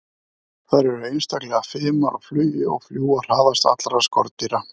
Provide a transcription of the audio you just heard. Þær eru einstaklega fimar á flugi og fljúga hraðast allra skordýra.